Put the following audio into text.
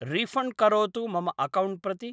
refund करोतु मम account प्रति